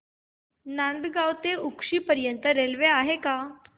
Nandgaon road ते उक्षी पर्यंत railway आहे का